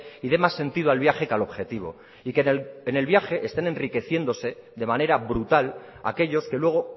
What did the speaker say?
y dé más sentido al viaje que al objetivo y que en el viaje estén enriqueciéndose de manera brutal aquellos que luego